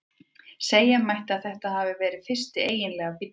Segja mætti að þetta hafi verið fyrsti eiginlegi bíllinn.